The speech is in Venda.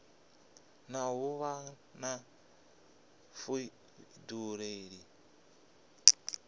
na u vha na vhuḓifhinduleli